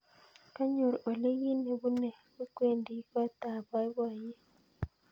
Kanyor olly kit nebune kwendi kot ab boiboiyet